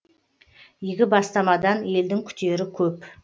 игі бастамадан елдің күтері көп